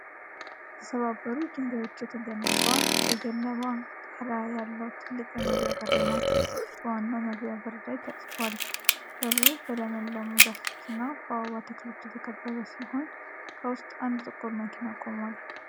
ከተሰባበሩ ድንጋዮች የተገነባ፣ ከገለባ ጣራ ያለው ትልቅ የመግቢያ በር ነው። በዋናው መግቢያ ላይ ተጽፏል። በሩ በለመለሙ ዛፎችና በአበባ ተክሎች የተከበበ ሲሆን፣ ከውስጥ አንድ ጥቁር መኪና ቆሟል።